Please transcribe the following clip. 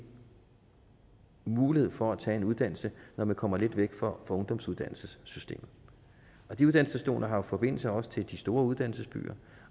mulighed for at tage en uddannelse når man kommer lidt væk fra ungdomsuddannelsessystemet og de uddannelsesstationer har jo forbindelse også til de store uddannelsesbyer